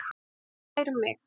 Fær mig.